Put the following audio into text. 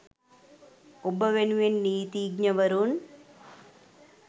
ඔබ වෙනුවෙන් නීතිඥවරුන්